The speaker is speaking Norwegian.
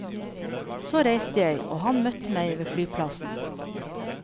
Så reiste jeg, og han møtte meg ved flyplassen.